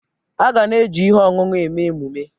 Aga na-eji ihe ọṅụṅụ eme emume.